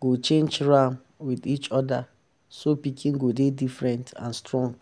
go change ram um with each other so pikin go dey different and strong.